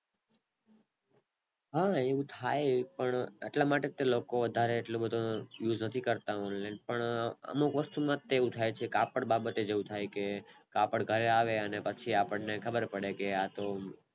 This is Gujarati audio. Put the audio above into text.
હ એવું થાય એટલા માટે લોકો વધારે એટલા માટે વધારે Use નથી કરતા Online પણ અમુક વસ્તુ માંજ એવું થાય છે કાપડ બાબતે એવું થાય કે કાપડ ઘરે આવે ને પછી આપણે ખબર પડે